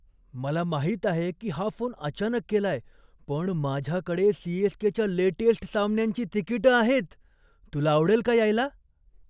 मला माहित आहे की हा फोन अचानक केलाय पण माझ्याकडे सी.एस.के.च्या लेटेस्ट सामन्यांची तिकिटं आहेत. तुला आवडेल का यायला?